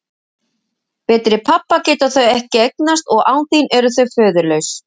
Betri pabba geta þau ekki eignast og án þín eru þau föðurlaus.